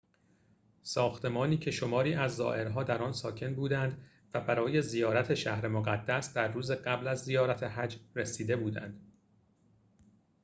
ساختمانی که شماری از زائرها در آن ساکن بودند و برای زیارت شهر مقدس در روز قبل از زیارت حج رسیده بودند